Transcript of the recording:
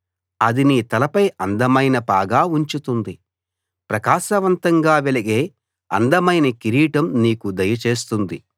అది నీ తలపై అందమైన పాగా ఉంచుతుంది ప్రకాశవంతంగా వెలిగే అందమైన కిరీటం నీకు దయచేస్తుంది